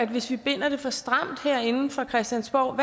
hvis vi binder det for stramt herinde fra christiansborg